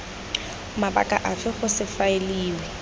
mabaka afe go se faeliwe